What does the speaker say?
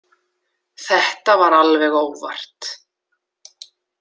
Þetta var alveg óvart.